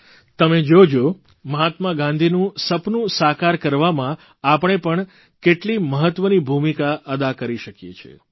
તમે જોજો મહાત્મા ગાંધીનું સપનું સાકાર કરવામાં આપણે પણ કેટલી મહત્વની ભૂમિકા અદા કરી શકીએ છીએ